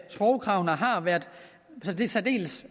sprogkravene har været særdeles